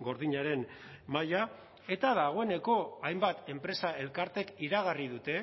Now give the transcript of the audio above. gordinaren maila eta dagoeneko hainbat enpresa elkartek iragarri dute